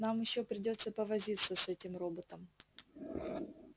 нам ещё придётся повозиться с этим роботом